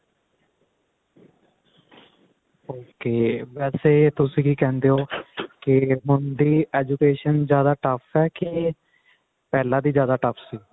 ok ਵੈਸੇ ਤੁਸੀਂ ਕਿ ਕਹਿੰਦੇ ਹੋ ਕਿ ਹੁਣ ਦੀ education ਜਿਆਦਾ tough ਹੈ ਕੇ ਪਹਿਲਾ ਦੀ ਜਿਆਦਾ tough ਸੀ